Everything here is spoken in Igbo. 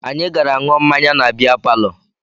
Anyị gara ṅụọ mmanya na bịa palọ